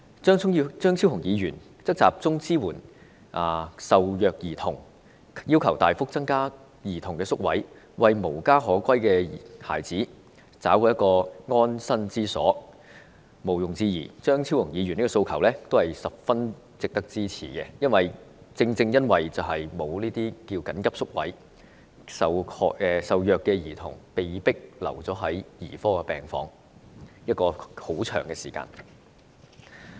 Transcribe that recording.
張超雄議員則建議集中支援受虐兒童，要求大幅增加兒童宿位，為無家可歸的孩子找來安身之所，毋庸置疑，張超雄議員的訴求都是十分值得支持，正正由於沒有這些緊急宿位，受虐兒童往往被迫長時間留在兒科病房。